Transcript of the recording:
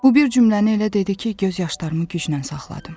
Bu bir cümləni elə dedi ki, göz yaşlarımı güclə saxladım.